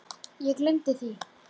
Ég gleymdi því.